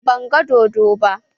Ban gan dodon ba